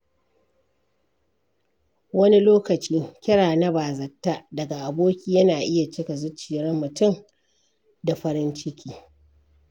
Wani lokaci, kira na bazata daga aboki yana iya cika zuciyar mutum da farin ciki.